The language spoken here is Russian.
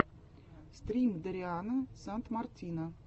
стрим дариана сандмартина